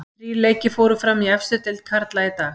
Þrír leikir fóru fram í efstu deild karla í dag.